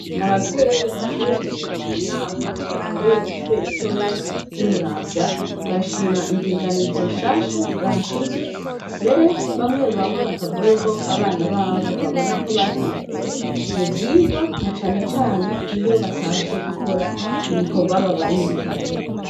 Abavyeyi bashoboye gushika munama yabereye kwishure ritoya ry' imuramvya barashima indinganizo nshasha nzahashizwe mbere bamwe bamwe bakavuga ko abana babo babona ko bateye imbere muvyigwa na cane cane iyo batashe gukora ibikogwa babarungikanye.